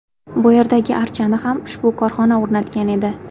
Bu yerdagi archani ham ushbu korxona o‘rnatgan edi.